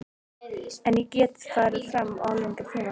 En ég get farið fram á lengri tíma.